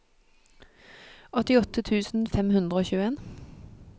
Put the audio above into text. åttiåtte tusen fem hundre og tjueen